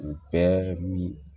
U bɛɛ min